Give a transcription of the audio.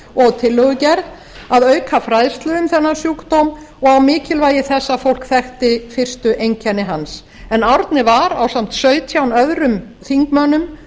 og tillögugerð að auka fræðslu um þennan sjúkdóm og á mikilvægi þess að fólk þekkti fyrstu einkenni hans árni var ásamt sautján öðrum þingmönnum